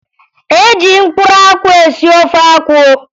E ji mkpụrụ akwụ esi ofe akwụ